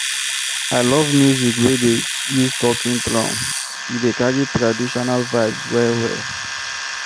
I love music wey dey use talking drum, e dey carry traditional vibes well-well.